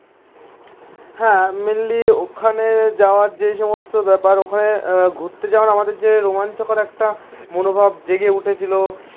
হ্যাঁ মেনলি ওখানে যাওয়ার যে সমস্ত ব্যাপার ওখানে ঘুরতে যাওয়ার আমাদের যে রোমাঞ্চকর একটা মনোভাব জেগে উঠেছিল.